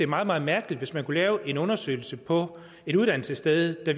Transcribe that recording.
meget meget mærkeligt hvis man kunne lave en undersøgelse på et uddannelsessted der